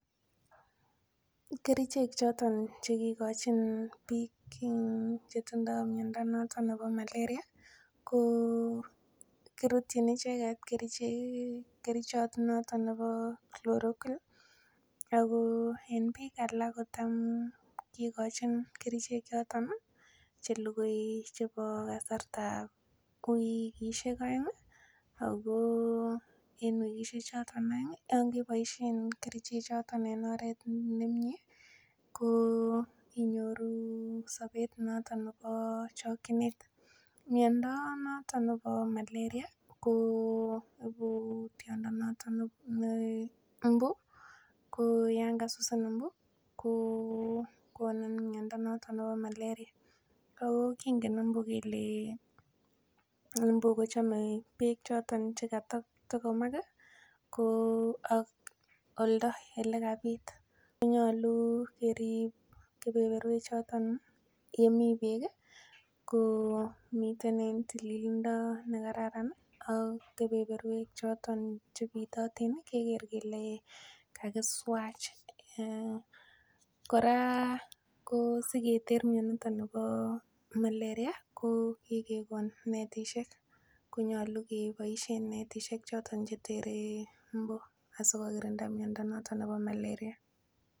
Kerichek choton chekigochin biik chetindo miondo noton nebo malaria ko kirutchin icheget kerichot noton nebo chloroquine ako en biik alak kotam kigochin kerichek choton chelugui chebo kasartab wigisiek oeng ako wigisiek choton oeng yon keboisien kerichechoton en oret nemie ko inyoru sobeet noton nebo chokyinet, miondo noton nebo malaria ko ibu tiondo noton ne mbu, ko yan kasusin mbu ko konin miondo noton nebo malaria ako kingen mbu kele chome beek choton chekatogomak ko ak oldo elekabiit, ko nyolu keriib kebeberwechoton yemi beek ii, komiten en tililindo nekararan ak kebeberwek choton chebitotin keger kele kakiswach, kora ko siketer mioniton bo malaria ko kigegon netisiek konyolu keboisien netisiek choton chetege mbu asikobit kogirinda miondo noton nebo malaria.